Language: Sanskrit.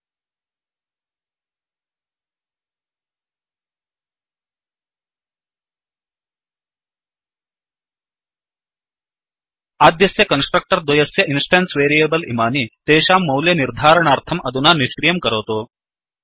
आद्यस्य कन्स्ट्रक्टर् द्वयस्य इन्स्टेन्स् वेरियेबल् इमानि तेषां मोल्य निर्धारणार्थं अधुना निष्क्रियं करोतु